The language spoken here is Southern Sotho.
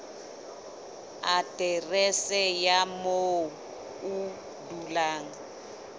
aterese ya moo o dulang